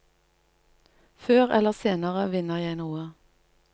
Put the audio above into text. Før eller senere vinner jeg noe.